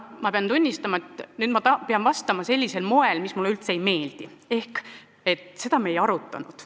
Ma pean tunnistama, et pean nüüd vastama sellisel moel, mis mulle üldse ei meeldi, ehk et seda me ei arutanud.